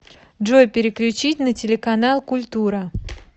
джой переключить на телеканал культура